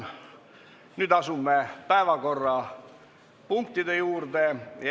Nüüd asume päevakorrapunktide juurde.